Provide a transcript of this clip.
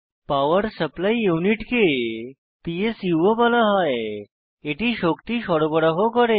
পাওয়ার supply unit কে PSU ও বলা হয় এটি শক্তি সরবরাহ করে